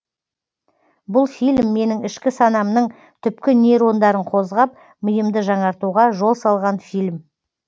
бұл фильм менің ішкі санамның түпкі нейрондарын қозғап миымды жаңартуға жол салған фильм